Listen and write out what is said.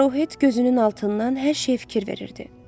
Arohet gözünün altından hər şeyə fikir verirdi.